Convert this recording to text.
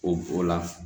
O o la